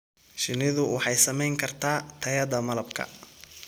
Shinnidu waxay saamayn kartaa tayada malabka.